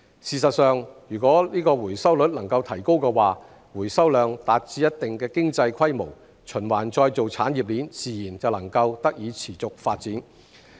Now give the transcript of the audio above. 事實上，如果回收率能夠提高，回收量達至一定的經濟規模，循環再造產業鏈自然能夠得以持續發展。